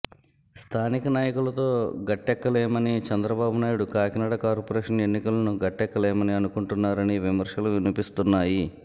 స్థానిక నాయకులతో గట్టెక్కలేమని చంద్రబాబు నాయుడు కాకినాడ కార్పొరేషన్ ఎన్నికలను గట్టెక్కలేమని అనుకుంటున్నారని విమర్శలు వినిపిస్తున్నాయి